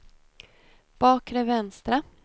bakre vänstra